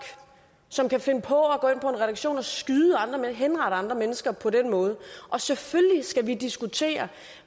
som kan finde på at gå redaktion og skyde henrette andre mennesker på den måde og selvfølgelig skal vi diskutere